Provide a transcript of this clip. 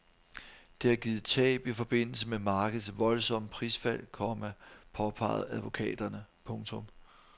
Det har givet tab i forbindelse med markedets voldsomme prisfald, komma påpeger advokaterne. punktum